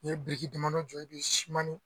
N'i ye bikiri damadɔ jɔ i bɛ siman ni